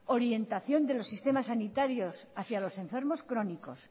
orientación de los sistemas sanitarios hacia los enfermos crónicos